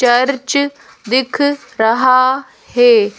Church दिख रहा है।